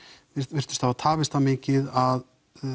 virtust hafa tafist það mikið að